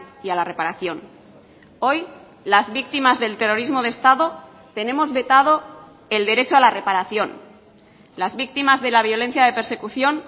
y a la reparación hoy las víctimas del terrorismo de estado tenemos vetado el derecho a la reparación las víctimas de la violencia de persecución